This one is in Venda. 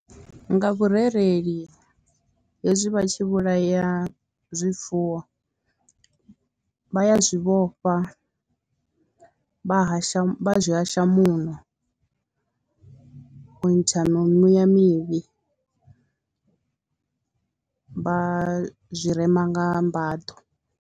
Nga vhurereli hezwi vha tshi vhulaya zwifuwo vha ya zwi vhofha, vha hasha vha zwi hasha muṋo u ntsha mi mimuya mivhi vha zwi rema nga mbaḓo.